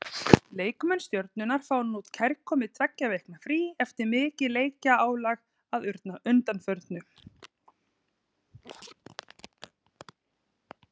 Leikmenn Stjörnunnar fá núna kærkomið tveggja vikna frí eftir mikið leikjaálag að undanförnu.